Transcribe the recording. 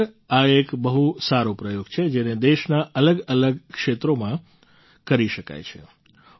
ખરેખર આ એક બહુ સારો પ્રયોગ છે જેને દેશનાં અલગઅલગ ક્ષેત્રોમાં કરી શકાય છે